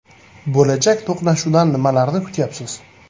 Bo‘lajak to‘qnashuvdan nimalarni kutyapsiz?